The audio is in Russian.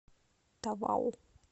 тавау